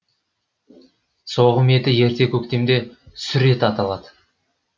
соғым еті ерте көктемде сүр ет аталады